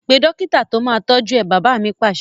Pe dókítà to máa tọju ẹ! Bàbá mi Pàṣẹ